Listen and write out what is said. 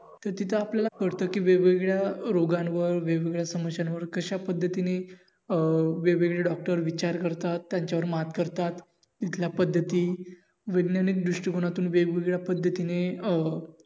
तर तिथं आपल्याला कळत कि वेगवेगळ्या रोगांवर वेगवेगळ्या समश्यांवर कशा पद्धतीने अं वेगवेगळे Dr विचार करतात, त्यांच्यावर मात करतात तिथल्या पद्धती वैध्यानिक दृष्टीकोनातून वेगवेगळ्या पद्धतीने अं